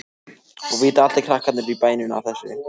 Og vita allir krakkarnir í bænum af þessu?